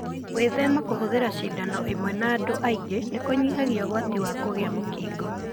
Gwĩthema kũhũthira cindano ĩmwe na andũ aingĩ nĩkũnyihagia ũgwati wa kũgĩa mũkingo.